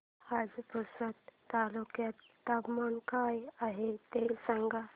आज पुसद तालुक्यात तापमान काय आहे मला सांगा